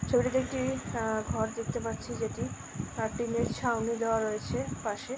ছবিটিতে একটি অ্যা ঘর দেখতে পাচ্ছি যেটি অ্যা টিন -র ছাউনি দেওয়া রয়েছে পাশে ।